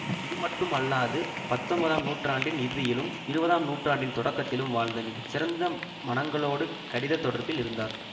இது மட்டும் அல்லாது பத்தொன்பதாம் நூற்றாண்டின் இறுதியிலும் இருபதாம் நூற்றாண்டின் தொடக்கத்திலும் வாழ்ந்த மிக சிறந்த மனங்களோடு கடிதத் தொடர்பில் இருந்தார்